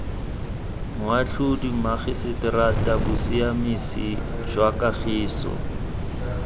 moatlhodi mmagiseterata bosiamisi jwa kagiso